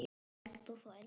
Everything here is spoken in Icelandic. Spæld og þvæld.